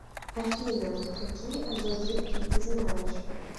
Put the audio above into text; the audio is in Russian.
афина какие азот жидкий ты знаешь